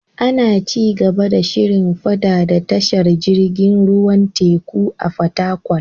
Ana ci gaba da shirin faɗaɗa tashar jirgin ruwan teku a Fatakwal.